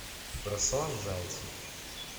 руслан зайцев